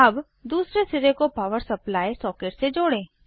अब दूसरे सिरे को पॉवर सप्लाई सॉकेट से जोड़ें